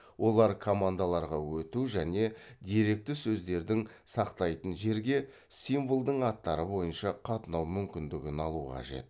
олар командаларға өту және деректі сөздердің сақтайтын жерге символдың аттары бойынша қатынау мүмкіндігін алу қажет